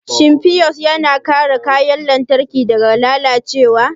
Shin fiyus yana kare kayan lantarki daga lalacewa?